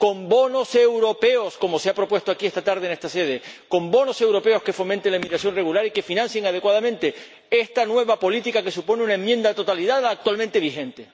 Con bonos europeos, como se ha propuesto aquí esta tarde, en esta sede. Con bonos europeos que fomenten la inmigración regular y que financien adecuadamente esta nueva política que supone una enmienda a la totalidad a la actualmente vigente.